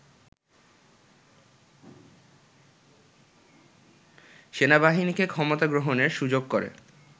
সেনাবাহিনীকে ক্ষমতা গ্রহণের সুযোগ করে